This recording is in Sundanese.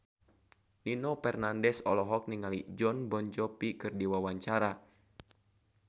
Nino Fernandez olohok ningali Jon Bon Jovi keur diwawancara